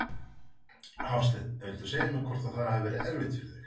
Hafsteinn: En viltu segja mér hvort að það hafi verið erfitt fyrir þig?